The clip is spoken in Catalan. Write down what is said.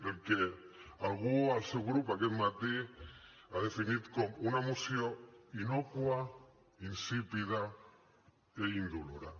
el que algú al seu grup aquest matí ha definit com una moció innòcua insípida i indolora